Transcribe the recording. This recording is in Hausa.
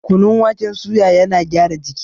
Kunun waken suya yana gyara jiki